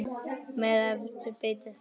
Með hverju beitið þið?